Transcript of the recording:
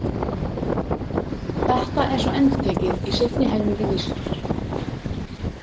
Þetta er svo endurtekið í seinni helmingi vísunnar.